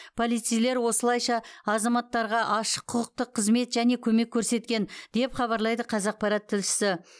полицейлер осылайша азаматтарға ашық құқықтық қызмет және көмек көрсеткен деп хабарлайды қазақпарат тілшісі